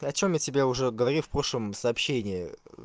ты о чем я тебе уже говорил в прошлом сообщении